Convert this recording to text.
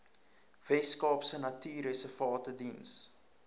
weskaapse natuurreservate diens